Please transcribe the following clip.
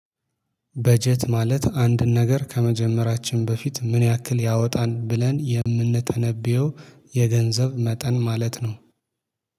በጀት ማለት አንድ ነገር ከመጀመራችን በፊት ምን ያክል ያወጣል ብለን የምንተነብየው የገንዘብ መጠን ማለት ነው